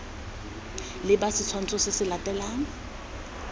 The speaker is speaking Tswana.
leba setshwantsho se se latelang